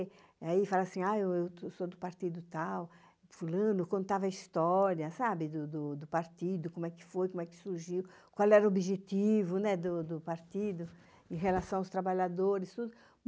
Aí falava assim, ah, eu sou do partido tal, fulano, contava a história, sabe, do partido, como é que foi, como é que surgiu, qual era o objetivo do partido em relação aos trabalhadores, tudo.